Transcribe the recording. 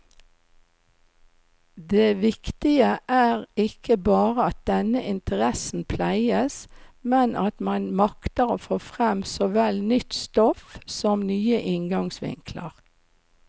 Det viktige er ikke bare at denne interessen pleies, men at man makter få frem såvel nytt stoff som nye inngangsvinkler.